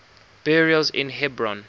burials in hebron